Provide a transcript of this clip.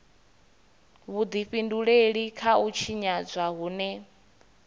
vhudifhinduleli kha u tshinyadzwa hune